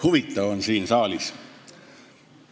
Huvitav on siin saalis.